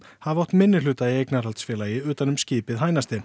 hafa átt minnihluta í eignarhaldsfélagi utan um skipið